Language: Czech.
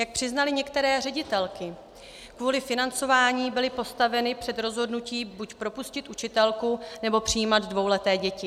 Jak přiznaly některé ředitelky, kvůli financování byly postaveny před rozhodnutí buď propustit učitelku, nebo přijímat dvouleté děti.